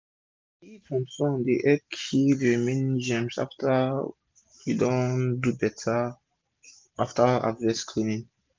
d heat from sun dey help kill d remaining germs after u don do beta after harvest cleaning